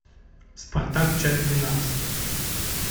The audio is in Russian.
спартак часть двенадцать